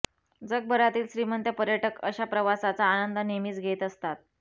जगभरातील श्रीमंत पर्यटक अशा प्रवासाचा आनंद नेहमीच घेत असतात